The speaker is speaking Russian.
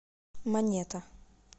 монета